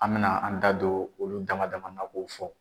An mɛna an da don olu dama dama na k'o fɔ.